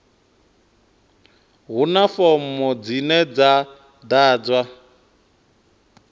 huna fomo dzine dza ḓadzwa